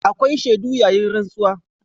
Akwai shaidu yayin rantsuwa.